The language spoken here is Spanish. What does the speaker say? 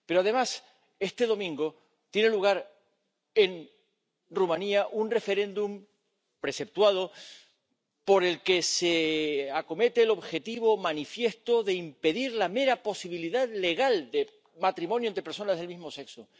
Pero, además, este domingo tiene lugar en Rumanía un referéndum preceptuado por el que se acomete el objetivo manifiesto de impedir la mera posibilidad legal de matrimonio entre personas del mismo sexo.